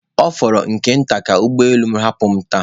Ọ fọrọ nke nta ka ụgbọ elu m hapụ m taa